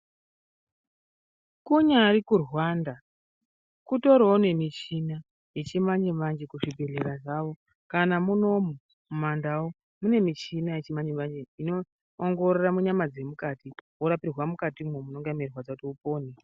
Kunyari kuRwanda kutoriwo nemishina yechimanje-manje kuzvibhedhlera zvawo kana munomu mumandau mune michina yechimanje-manje inoongorora munyama dzemukati worapirwa mukatimwo munonga meirwadza kuti upone.